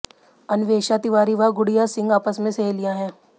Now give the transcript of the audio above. अन्वेषा तिवारी व गुडिय़ा सिंह आपस में सहेलियां हैं